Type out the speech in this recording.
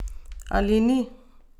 Ali ni?